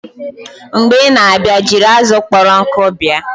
Mgbe ị na-abịa, jiri azụ kpọrọ nkụ bịa!